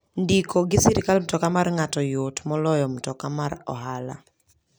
Ndiko gi sirkal mtoka mar ng'ato yot moloyo mtoka mar ohala.